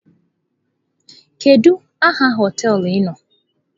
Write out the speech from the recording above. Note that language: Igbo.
Kedu aha hoteelu ị nọ?